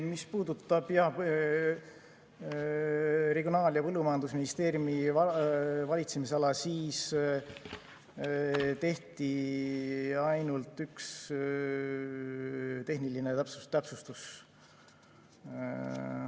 Mis puudutab Regionaal‑ ja Põllumajandusministeeriumi valitsemisala, siis tehti ainult üks tehniline täpsustus.